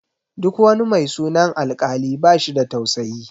Duk wani mai sunan Alkali bashi da tausayi.